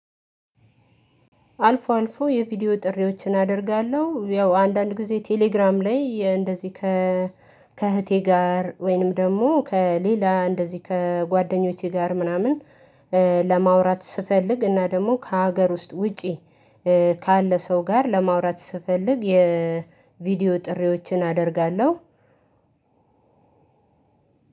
አልፎ አልፎ የቪዲዮ ጥሪዎችን አደርጋለሁ ያው አንዳንድ ጊዜ ቴሌግራም ላይ እንደዚህ ከእህቴ ጋር ወይንም ደግሞ ከሌላ እንደዚህ ከጓደኞቼ ጋር ምናምን ለማውራት ስፈልግ እና ደግሞ ከሀገር ውስጥ ውጪ ካለ ሰው ጋር ለማውራት ስፈልግ የቪዲዮ ጥሪዎችን አደርጋለሁ።